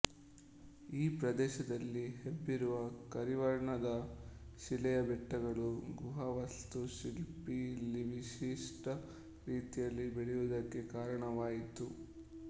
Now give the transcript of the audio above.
ಈ ಪ್ರದೇಶದಲ್ಲಿ ಹಬ್ಬಿರುವ ಕರಿವರ್ಣದ ಶಿಲೆಯ ಬೆಟ್ಟಗಳು ಗುಹಾ ವಾಸ್ತುಶಿಲ್ಪ ಇಲ್ಲಿ ವಿಶಿಷ್ಟ ರೀತಿಯಲ್ಲಿ ಬೆಳೆಯುವುದಕ್ಕೆ ಕಾರಣವಾಯಿತು